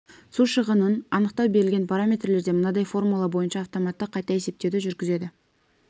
су шығынын анықтау берілген параметрлерде мынадай формула бойынша автоматты қайта есептеуді жүргізеді